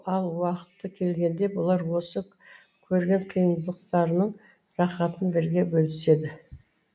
ал уақыты келгенде бұлар осы көрген қиындықтарының рахатын бірге бөліседі